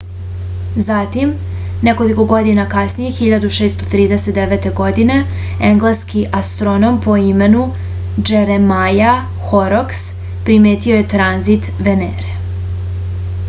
zatim nekoliko godina kasnije 1639. godine engleski astronom po imenu džeremaja horoks primetio je tranzit venere